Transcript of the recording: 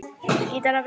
Ragnar Daði.